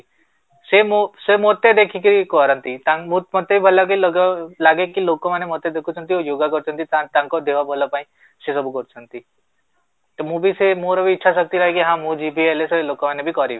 ସେ ମୋ ମୋତେ ଦେଖିକି କରନ୍ତି ତାଙ୍କୁ ବୋହୁତ ମତେ ବି ମାନେ ଭଲ ଲାଗେ ଲାଗିକି ଲୋକ ମାନେ ଦେଖୁଛନ୍ତି ଆଉ yoga କରୁଛନ୍ତି ତାଙ୍କ ଦେହ ଭଲ ପାଇଁ ସେସବୁ କରୁଛନ୍ତି, ତ ମୁଁ ବି ସେଇ ମୋର ବି ଇଛାଶକ୍ତି ହୁଏ କି ହଁ ମୁଁ ଯିବି ସେ ଲୋକ ମାନେ ବି କରିବେ